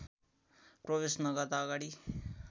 प्रवेश नगर्दा अगाडि